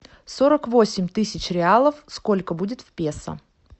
сорок восемь тысяч реалов сколько будет в песо